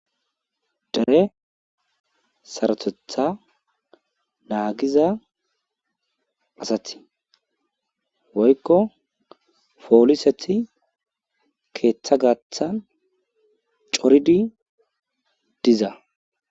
Dzere sarothetha naagiza asati woykko pooliseti keetha gaathan coridi dziza.